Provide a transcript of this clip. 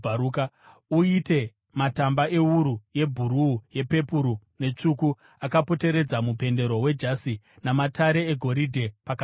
Uite matamba ewuru yebhuruu, yepepuru netsvuku akapoteredza mupendero wejasi, namatare egoridhe pakati pawo.